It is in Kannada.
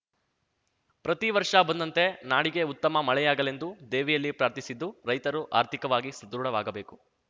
ಪ್ರತಿ ವರ್ಷ ಬಂದಂತೆ ನಾಡಿಗೆ ಉತ್ತಮ ಮಳೆಯಾಗಲೆಂದು ದೇವಿಯಲ್ಲಿ ಪ್ರಾರ್ಥಿಸಿದ್ದು ರೈತರು ಆರ್ಥಿಕವಾಗಿ ಸಧೃಡವಾಗಬೇಕು